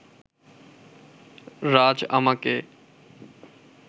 রাজ আমাকে